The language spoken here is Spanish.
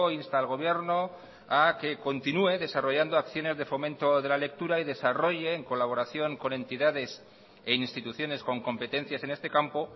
insta al gobierno a que continúe desarrollando acciones de fomento de la lectura y desarrolle en colaboración con entidades e instituciones con competencias en este campo